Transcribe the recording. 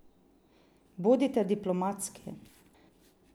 Bodite diplomatski.